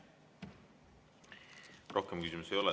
Rohkem küsimusi ei ole.